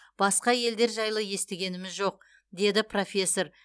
басқа елдер жайлы естігеніміз жоқ деді профессор